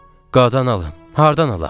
Qadan alım, hardan alaq?